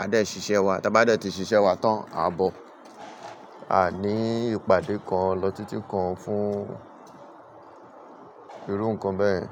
a dẹ̀ ṣiṣẹ́ wa, tí a bá dẹ̀ ti ṣiṣẹ́ wa tán, a bọ̀. A iní ìpàdé kan lọ títí kan fún irú nǹkan bẹ́ẹ̀.